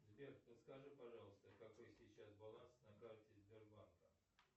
сбер подскажи пожалуйста какой сейчас баланс на карте сбербанка